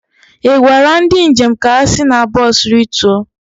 ị gwara ndị njem ka ha si na bọs rituo?